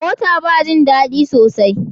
Mota ba jin dadi sosai.